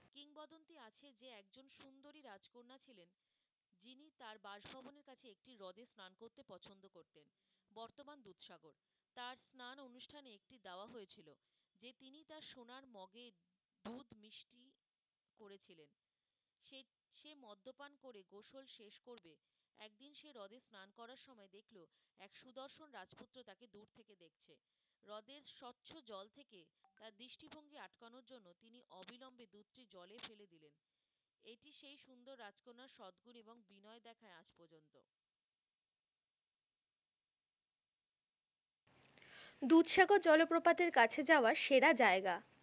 দুধসাগর জলপ্রপাতের কাছে যাওয়ার সেরা জায়গা?